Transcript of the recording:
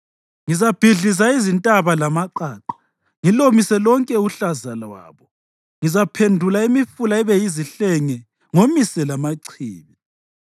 Ngizabhidliza izintaba lamaqaqa; ngilomise lonke uhlaza lwabo; ngizaphendula imifula ibe yizihlenge ngomise lamachibi.